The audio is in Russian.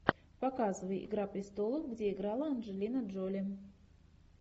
показывай игра престолов где играла анджелина джоли